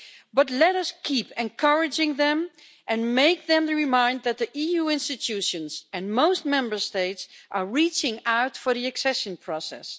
But let us keep encouraging them and remind them that the EU institutions and most Member States are reaching out for the accession process.